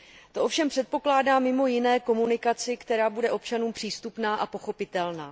To ovšem předpokládá mimo jiné komunikaci, která bude občanům přístupná a pochopitelná.